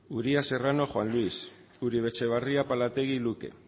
uria serrano juan luis uribe etxebarria apalategi luke